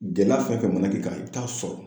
Gɛlɛya fɛn fɛn mana k'i kan i bɛ taa sɔrɔ